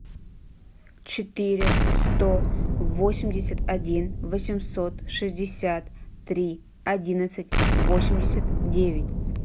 четыре сто восемьдесят один восемьсот шестьдесят три одиннадцать восемьдесят девять